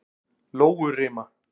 Lóurima